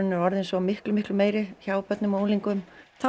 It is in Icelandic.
er orðin svo miklu miklu meiri hjá börnum og unglingum